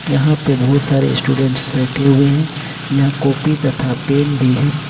यहां पे बहुत सारे स्टूडेंट्स बैठे हुए है यहां कॉपी तथा पेन भी हैं।